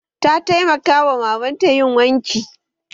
Ta taimaka wa mamanta yin wanki